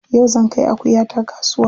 Yau zan kai akuyata kasuwa.